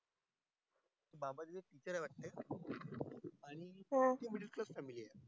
बाबा चा picture ये वाट family वर